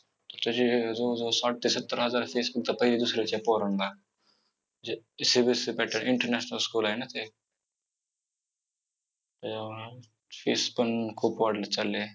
त्याची जवळजवळ साठ ते सत्तर हजार fee असेल पहिली, दुसरीच्या पोरांना CBSE pattern international school आहे ना ते! fees पण खूप वाढत चालली आहे.